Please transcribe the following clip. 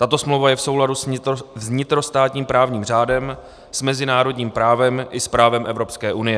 Tato smlouva je v souladu s vnitrostátním právním řádem, s mezinárodním právem i s právem Evropské unie.